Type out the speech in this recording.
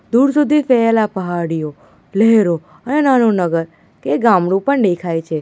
દૂર સુધી ફેલેલા પહાડીઓ લહેરો અને નાનું નગર કે ગામડું પણ દેખાય છે.